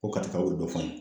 Ko katikaw ye dɔ f'an ye.